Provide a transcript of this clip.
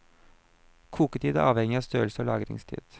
Koketid er avhengig av størrelse og lagringstid.